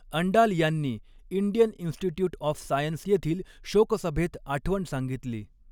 अंडाल यांनी Indian institute of science येथील शोकसभेत आठवण सांगितली.